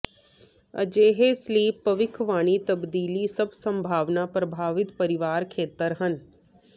ਅਜਿਹੇ ਸਲੀਪ ਭਵਿੱਖਬਾਣੀ ਤਬਦੀਲੀ ਸਭ ਸੰਭਾਵਨਾ ਪ੍ਰਭਾਵਿਤ ਪਰਿਵਾਰ ਖੇਤਰ ਹਨ